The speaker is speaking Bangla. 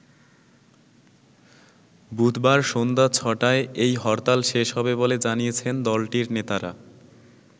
বুধবার সন্ধ্যা ছ’টায় এই হরতাল শেষ হবে বলে জানিয়েছেন দলটির নেতারা।